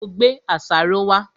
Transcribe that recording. Ṣé ò gbé àṣàrò wá?